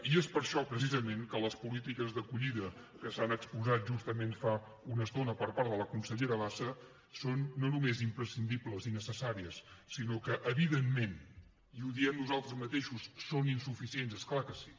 i és per això precisament que les polítiques d’acollida que s’han exposat justament fa una estona per part de la consellera bassa són no només imprescindibles i necessàries sinó que evidentment i ho diem nosaltres mateixos són insuficients és clar que sí